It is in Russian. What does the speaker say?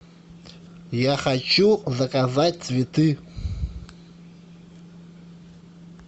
я хочу заказать цветы